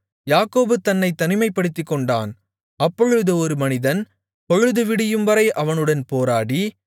யாக்கோபு தன்னைத் தனிமைப்படுத்திக்கொண்டான் அப்பொழுது ஒரு மனிதன் பொழுது விடியும்வரை அவனுடன் போராடி